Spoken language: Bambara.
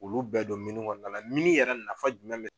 Olu bɛɛ don kɔnɔna la yɛrɛ nafa jumɛn bɛ